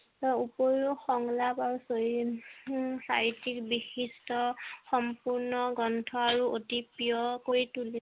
তাৰ ওপৰিও সংলাপ আৰু সাহিত্য বিশিষ্ট সম্পূৰ্ণ গ্ৰন্থ আৰু অতি প্ৰিয় কৰি তুলো